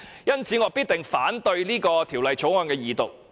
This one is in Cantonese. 因此，我必定反對《條例草案》的二讀。